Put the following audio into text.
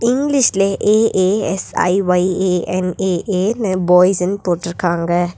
இங்கிலீஷ்ல A A S I Y A N A A னு பாய்ஸ்ன்னு போட்டுருக்காங்க.